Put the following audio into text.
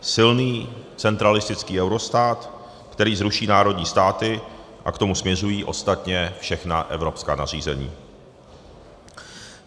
Silný centralistický eurostát, který zruší národní státy, a k tomu směřují ostatně všechna evropská nařízení.